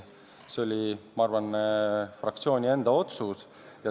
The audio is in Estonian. See oli, ma arvan, fraktsiooni enda otsus.